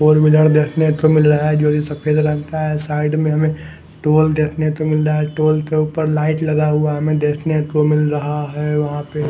Side में toll लगा हुआ है टोल के ऊपर लाइट लगा हुआ है हमें देखने को मिल रहा है वहां पे ।